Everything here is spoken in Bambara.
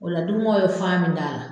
O la dimɔgɔ ye fan min da la.